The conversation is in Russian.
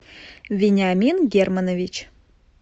вениамин германович